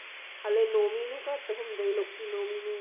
ਹਲੇ ਨੋਵੀਂ ਨੂੰ ਘੱਟ ਹੁੰਦੇ ਲੋਕੀ ਨੋਵੀਂ ਨੂੰ